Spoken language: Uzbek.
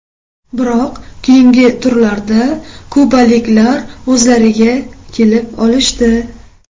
Biroq keyingi turlarda kubaliklar o‘zlariga kelib olishdi.